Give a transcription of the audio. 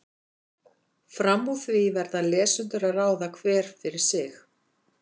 Fram úr því verða lesendur að ráða, hver fyrir sig.